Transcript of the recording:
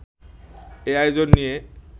এ আয়োজন নিয়ে